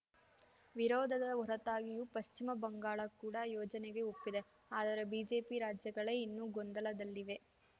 ವಿರೋಧದ ಹೊರತಾಗಿಯೂ ಪಶ್ಚಿಮ ಬಂಗಾಳ ಕೂಡ ಯೋಜನೆಗೆ ಒಪ್ಪಿದೆ ಆದರೆ ಬಿಜೆಪಿ ರಾಜ್ಯಗಳೇ ಇನ್ನೂ ಗೊಂದಲದಲ್ಲಿವೆ